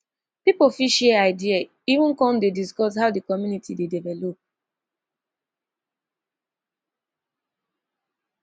pipo fit share idea even con dey discuss how di community dey develop